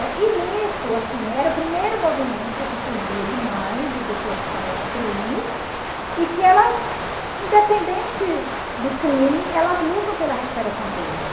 E nisso, assim, era o primeiro movimento que surgia de mães de pessoas que cometem crimes e que elas, independente do crime, elas lutam pela recuperação deles.